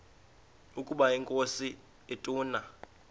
ukaba inkosi ituna